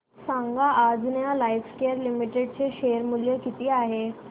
सांगा Anjaneya Lifecare Limited चे share मूल्य किती आहे